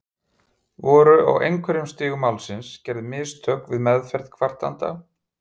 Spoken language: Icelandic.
Voru, á einhverjum stigum málsins, gerð mistök við meðferð kvartanda?